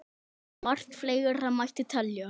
Margt fleira mætti telja.